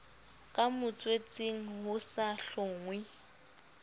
ka motswetseng ho sa hlonngwe